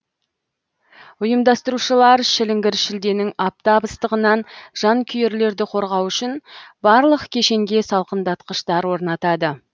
ұйымдастырушылар шіліңгір шілденің аптап ыстығынан жанкүйерлерді қорғау үшін барлық кешенге салқындатқыштар орнатады